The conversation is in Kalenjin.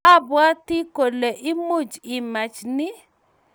Abwati kole much imach ni